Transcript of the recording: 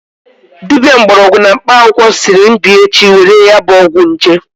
Dibia mgborogwu na mkpa akwukwo siri m bia echi were ya bu ogwu nje